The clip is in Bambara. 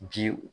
Ji